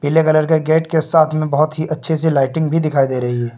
पीले कलर के गेट के साथ में बहोत ही अच्छे से लाइटिंग भी दिखाई दे रही है।